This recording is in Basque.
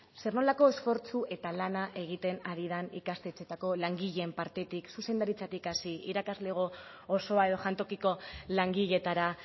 zer nolako esfortzu eta lana egiten ari den ikastetxeetako langileen partetik zuzendaritzatik hasi irakasleko osoa edo jantokiko langileetara